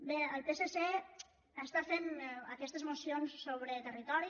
bé el psc està fent aquestes mocions sobre territori